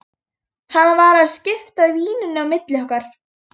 Hann var að skipta víninu á milli okkar!